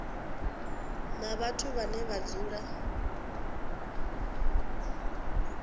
na vhathu vhane vha dzula